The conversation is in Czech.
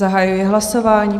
Zahajuji hlasování.